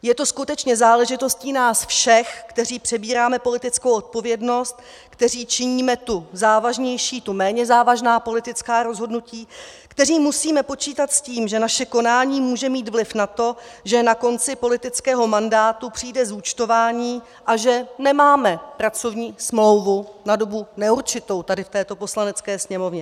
Je to skutečně záležitostí nás všech, kteří přebíráme politickou odpovědnost, kteří činíme tu závažnější, tu méně závažná politická rozhodnutí, kteří musíme počítat s tím, že naše konání může mít vliv na to, že na konci politického mandátu přijde zúčtování a že nemáme pracovní smlouvu na dobu neurčitou tady v této Poslanecké sněmovně.